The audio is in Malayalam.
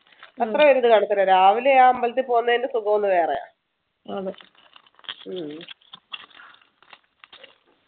അത്ര രാവിലെ ആ അമ്പലത്തിൽ പോകുന്നെൻ്റെ സുഖമൊന്നു വേറെയാ ഉം